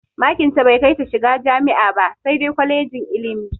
Makin tai bai kai ta shiga jami'a ba sai dai kwalejin ilimi.